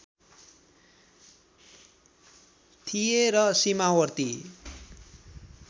थिए र सीमावर्ती